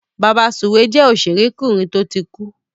Bàbasùwé jẹ́ òṣèrékùnrin tó ti kú.